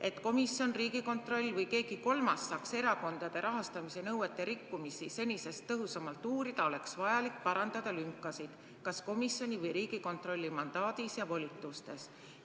Et komisjon, Riigikontroll või keegi kolmas saaks erakondade rahastamise nõuete rikkumisi senisest tõhusamalt uurida, oleks vajalik parandada lünkasid kas komisjoni või Riigikontrolli mandaadis ja volitustes.